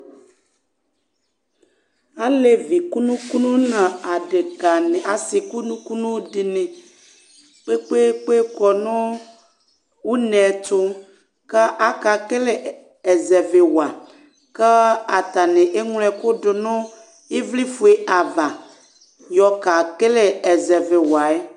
Alévi kunukunu na adéka na asi kunukunu dini kpékpékpé kɔnu unétu ka akekélé ɛzɛvi wa Ka atani eŋlo ɛku dunu ɩʋli fué ava yɔka kéle ɛzɛvi waɛ